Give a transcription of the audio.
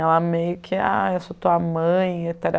Ela meio que, ah, eu sou tua mãe,